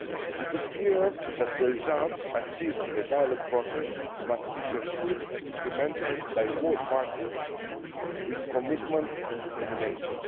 forces. It is clear that the results achieved in the dialogue process must be pursued and implemented by both parties with commitment and determination.